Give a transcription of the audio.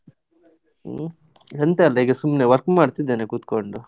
ಹ್ಮ್, ಎಂತ ಇಲ್ಲ ಈಗ ಸುಮ್ನೆ work ಮಾಡ್ತಾ ಇದ್ದೇನೆ ಕುತ್ಕೊಂಡು.